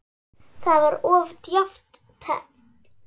Það var of djarft teflt.